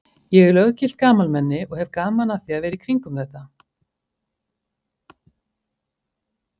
Ég er löggilt gamalmenni og hef gaman að því að vera í kringum þetta.